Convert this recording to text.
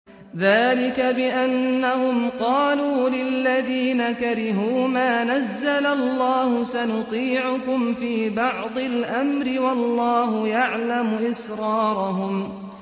ذَٰلِكَ بِأَنَّهُمْ قَالُوا لِلَّذِينَ كَرِهُوا مَا نَزَّلَ اللَّهُ سَنُطِيعُكُمْ فِي بَعْضِ الْأَمْرِ ۖ وَاللَّهُ يَعْلَمُ إِسْرَارَهُمْ